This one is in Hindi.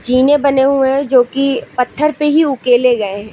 जीने बने हुए हैं जो की पत्थर पर ही उकेले गए हैं।